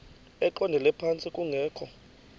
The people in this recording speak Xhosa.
eqondele phantsi kungekho